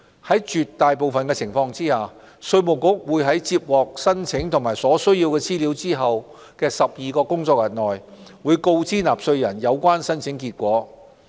在絕大部分情況下，稅務局會在接獲申請及所需資料後的12個工作天內，告知納稅人有關申請結果。